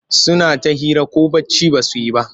Suna ta hira ko bacci ba su yi ba.